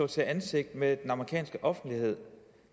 til ansigt med den amerikanske offentlighed